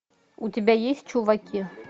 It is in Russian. у тебя есть чуваки